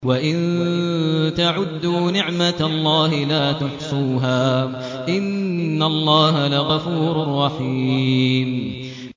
وَإِن تَعُدُّوا نِعْمَةَ اللَّهِ لَا تُحْصُوهَا ۗ إِنَّ اللَّهَ لَغَفُورٌ رَّحِيمٌ